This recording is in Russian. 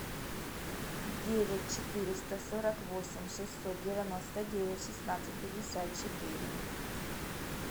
девять четыреста сорок восемь шестьсот девяносто девять шестнадцать пятьдесят четыре